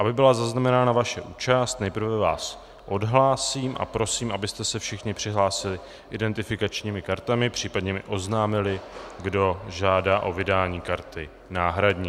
Aby byla zaznamenána vaše účast, nejprve vás odhlásím a prosím, abyste se všichni přihlásili identifikačními kartami, případně mi oznámili, kdo žádá o vydání karty náhradní.